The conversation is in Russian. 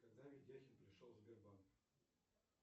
когда ведяхин пришел в сбербанк